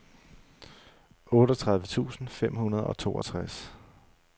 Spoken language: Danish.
otteogtredive tusind fem hundrede og toogtres